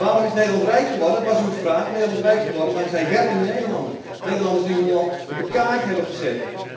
Waarom is Nederland rijk geworden, was uw vraag? Nederland is rijk geworden dankzij werkende Nederlanders, Nederlanders die hun land op de kaart hebben gezet.